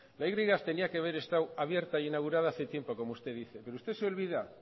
la y tenía que haber estado abierta e inaugurada hace tiempo como usted dice usted se olvida